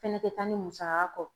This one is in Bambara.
Fɛnɛ te taa ni musaka kɔ